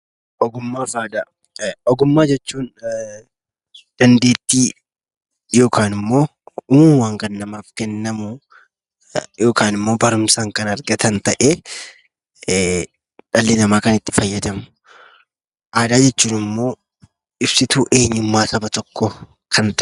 Ogummaa fi Aadaa: Ogummaa jechuun dandeettii yookaan immoo uumamumaan kan namaaf kennamu yookaan immoo barumsaan kan argatan ta'ee dhalli namaa kan itti fayyadamu. Aadaa jechuun immoo ibsituu eenyummaa saba tokkoo kan ta'e.